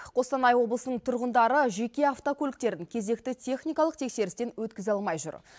қостанай облысының тұрғындары жеке автокөліктерін кезекті техникалық тексерістен өткізе алмай жүр